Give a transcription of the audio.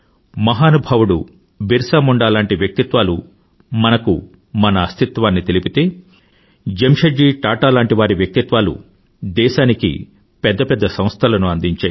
మహానుభావుడు బిర్సా ముండా లాంటి వ్యక్తిత్వాలు మనకు మన అస్థిత్వాన్ని తెలిపితే జెమ్షెడ్ జీ టాటా లాంటి వ్యక్తిత్వాలు దేశానికి పెద్ద పెద్ద సంస్థలను అందించాయి